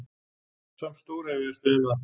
Samt stórefaðist ég um það.